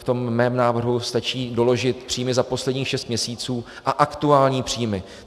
V tom mém návrhu stačí doložit příjmy za posledních šest měsíců a aktuální příjmy.